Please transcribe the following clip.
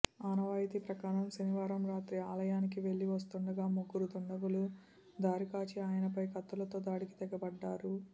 ఆనవాయితీ ప్రకారం శనివారం రాత్రి ఆలయానికి వెళ్లి వస్తుండగా ముగ్గురు దుండగులు దారికాచి ఆయనపై కత్తులతో దాడికి తెగబడ్డారు